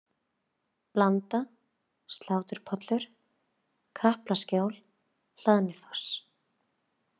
Blanda, Sláturpollur, Kaplaskjól, Hlaðnifoss